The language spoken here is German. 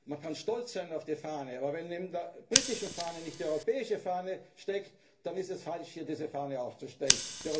ist etwas, was uns bedroht. Man kann stolz sein auf die Fahne, aber wenn neben der britischen Fahne nicht die europäische Fahne steht, dann ist es